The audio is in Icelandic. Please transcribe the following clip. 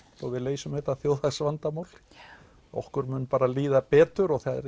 svo við leysum þetta þjóðhagsvandamál okkur mun bara líða betur og það